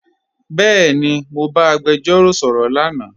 Bẹẹni, Mọ ba agbẹjọro sọrọ lánà.